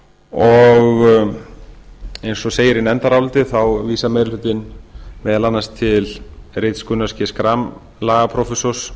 og eins og segir í nefndaráliti vísar meiri hlutinn meðal annars til rits gunnars g schram lagaprófessors